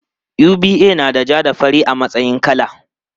UBA nada ja da fari a matsayin kala.